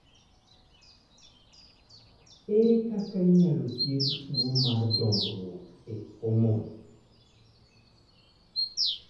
Ere kaka inyalo thiedh tuwo mar dongruok e homon?